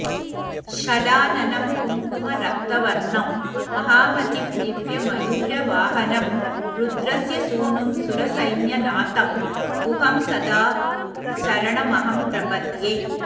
षडाननं कुङ्कुमरक्तवर्णं महामतिं दिव्यमयूरवाहनं रुद्रस्यसूनुं सुरसैन्यनाथं गुहं सदा शरणमहं प्रपद्ये